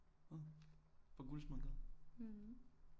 På Guldsmedegade